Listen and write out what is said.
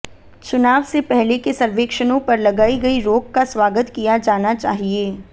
चुनाव से पहले के सर्वेक्षणों पर लगाई गई रोक का स्वागत किया जाना चाहिए